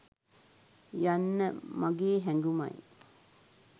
යන්න මගේ හැගුමයි